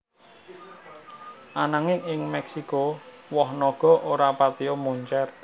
Ananging ing Mèksiko woh naga ora patiya moncèr